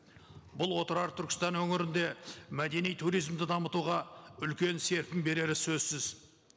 бұл отырар түркістан өңірінде мәдени туризмді дамытуға үлкен серпін берері сөзсіз